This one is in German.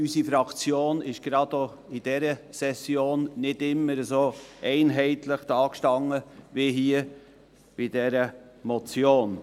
Unsere Fraktion stand gerade auch in dieser Session nicht immer so einheitlich da, wie bei dieser Motion.